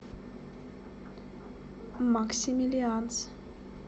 максимилианс